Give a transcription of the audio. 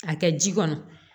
A kɛ ji kɔnɔ